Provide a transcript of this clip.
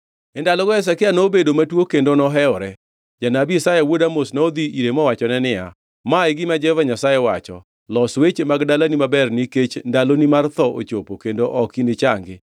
E ndalogo Hezekia nobedo matuo kendo nohewore. Janabi Isaya wuod Amoz nodhi ire mowachone niya, “Ma e gima Jehova Nyasaye wacho: Los weche mag dalani maber nikech ndaloni mar tho ochopo kendo ok inichangi.”